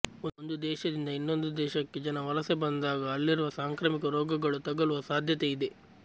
ಒಂದು ದೇಶದಿಂದ ಇನ್ನೊಂದು ದೇಶಕ್ಕೆ ಜನ ವಲಸೆ ಬಂದಾಗ ಅಲ್ಲಿರುವ ಸಾಂಕ್ರಾಮಿಕ ರೋಗಗಳು ತಗಲುವ ಸಾಧ್ಯತೆ ಇದೆ